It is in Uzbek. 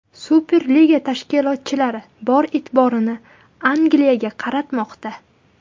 Superliga tashkilotchilari bor e’tiborini Angliyaga qaratmoqda.